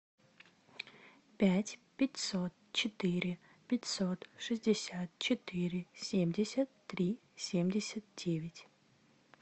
пять пятьсот четыре пятьсот шестьдесят четыре семьдесят три семьдесят девять